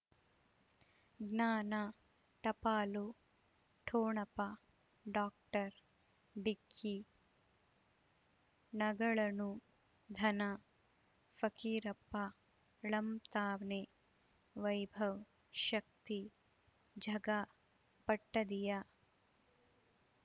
ಜ್ಞಾನ ಟಪಾಲು ಠೊಣಪ ಡಾಕ್ಟರ್ ಢಿಕ್ಕಿ ಣಗಳನು ಧನ ಫಕೀರಪ್ಪ ಳಂತಾನೆ ವೈಭವ್ ಶಕ್ತಿ ಝಗಾ ಪಟ್ಪದಿಯ